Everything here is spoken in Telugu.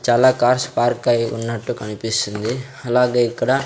చాలా కార్స్ పార్క్ అయి ఉన్నట్టు కనిపిస్తుంది అలాగే ఇక్కడ--